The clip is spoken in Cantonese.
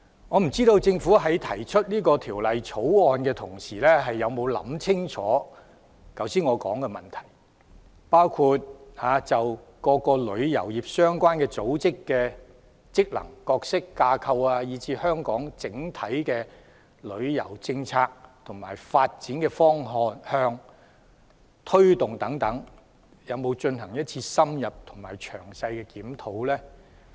我不知道政府提出《條例草案》的時候，有否想清楚我剛才說的問題，包括就各個旅遊業相關組織的職能、角色、架構，以至香港整體的旅遊政策的發展方向和推動等，有否進行一次深入而詳細的檢討？